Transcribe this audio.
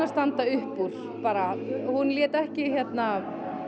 standa upp úr bara hún lét ekki